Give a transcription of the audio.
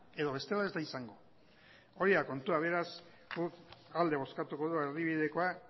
edo bestela ez da izango hori da kontua beraz guk alde bozkatuko dugu erdibidekoa